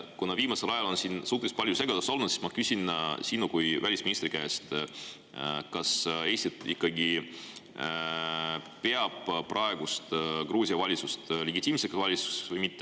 Kuna viimasel ajal on siin suhteliselt palju segadust olnud, siis ma küsin sinu kui välisministri käest, kas Eesti ikkagi peab praegust Gruusia valitsust legitiimseks valitsuseks või mitte.